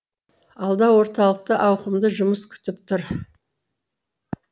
алда орталықты ауқымды жұмыс күтіп тұр